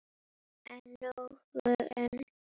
En nóg um mig.